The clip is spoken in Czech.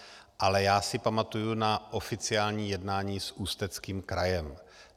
Ale já si pamatuji na oficiální jednání s Ústeckým krajem.